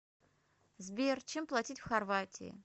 сбер чем платить в хорватии